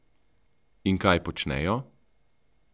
In kaj počnejo?